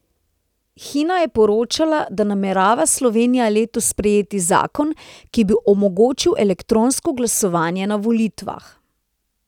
Hina je poročala, da namerava Slovenija letos sprejeti zakon, ki bi omogočil elektronsko glasovanje na volitvah.